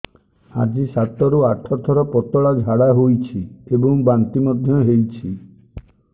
ଆଜି ସାତରୁ ଆଠ ଥର ପତଳା ଝାଡ଼ା ହୋଇଛି ଏବଂ ବାନ୍ତି ମଧ୍ୟ ହେଇଛି